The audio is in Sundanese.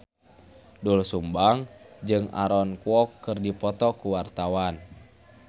Doel Sumbang jeung Aaron Kwok keur dipoto ku wartawan